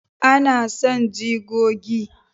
a, na san jigogi